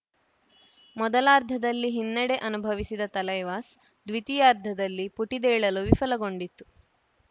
ಮೊದಲಾರ್ಧದಲ್ಲಿ ಹಿನ್ನಡೆ ಅನುಭವಿಸಿದ ತಲೈವಾಸ್‌ ದ್ವಿತೀಯಾರ್ಧದಲ್ಲಿ ಪುಟಿದೇಳಲು ವಿಫಲಗೊಂಡಿತು